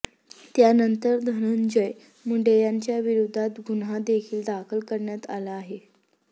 त्यानंतर धनंजय मुंडे यांच्या विरोधात गुन्हा देखील दाखल करण्यात आला आहे